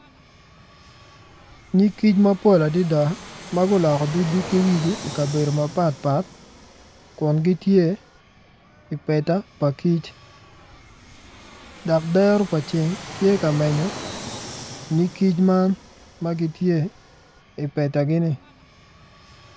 Nyig kic mapol adada ma guloko dudgi ki wigi i kabedo mapatpat kun gitye i peda pa .kic dok dero pa ceng tye ka menyo nyig kic man ma gitye ipedagini.